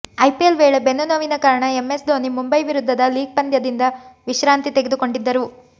IPL ವೇಳೆ ಬೆನ್ನು ನೋವಿನ ಕಾರಣ ಎಂಎಸ್ ಧೋನಿ ಮುಂಬೈ ವಿರುದ್ಧದ ಲೀಗ್ ಪಂದ್ಯದಿಂದ ವಿಶ್ರಾಂತಿ ತೆಗೆದುಕೊಂಡಿದ್ದರು